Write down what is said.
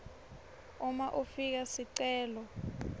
uma ufaka sicelo